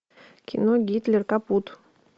кино гитлер капут